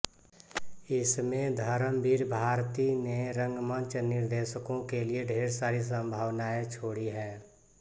इसमें धर्मवीर भारती ने रंगमंच निर्देशको के लिए ढेर सारी संभावनाएँ छोड़ी हैं